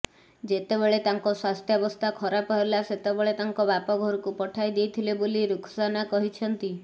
ଯେତେବେଳେ ତାଙ୍କ ସ୍ୱାସ୍ଥ୍ୟବସ୍ଥା ଖରାପ ହେଲା ସେତେବେଳେ ତାଙ୍କ ବାପ ଘରକୁ ପଠାଇ ଦେଇଥିଲେ ବୋଲି ରୁଖସାନା କହିଛନ୍ତି